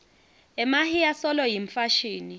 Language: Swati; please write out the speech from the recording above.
emahiya solo yimfashini